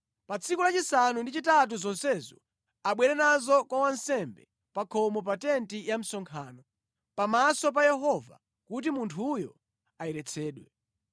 “Pa tsiku lachisanu ndi chitatu zonsezo abwere nazo kwa wansembe, pa khomo pa tenti ya msonkhano, pamaso pa Yehova kuti munthuyo ayeretsedwe.